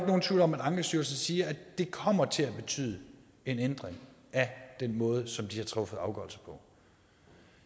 nogen tvivl om at ankestyrelsen siger at det kommer til at betyde en ændring af den måde som de har truffet afgørelser på